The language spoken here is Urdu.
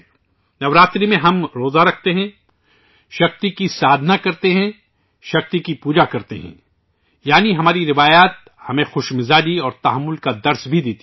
نو راترے میں ، ہم وَرت اُپواس ، شکتی کی پوجا کرتے ہیں یعنی ہماری روایتیں ہمیں خوشیاں منانا بھی سکھاتی ہیں اور تحمل اور ریاض کا درس بھی دیتی ہیں